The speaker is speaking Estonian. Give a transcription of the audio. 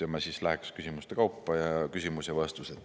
Ma läheksin siis küsimuste kaupa: küsimus ja vastus.